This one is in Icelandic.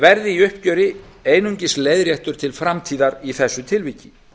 verði í uppgjöri einungis leiðréttur til framtíðar í þessu tilviki